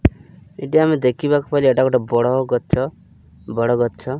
ଏଇଟି ଦେଖି ବାକୁ ପାଇଲୁ ଏଟା ଗୋଟେ ବଡ଼ ଗଛ ବଡ଼ ଗଛ।